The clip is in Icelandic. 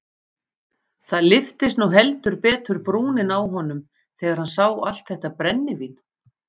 Það lyftist nú heldur betur brúnin á honum þegar hann sá allt þetta brennivín.